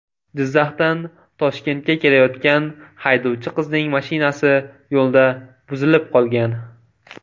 Jizzaxdan Toshkentga kelayotgan haydovchi qizning mashinasi yo‘lda buzilib qolgan.